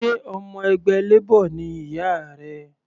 Sé ọmọ ẹgbẹ́ Labor ni ìyá rẹ?